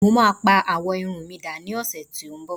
mo ma pa awọ Irun mi da ni ọsẹ ti nbọ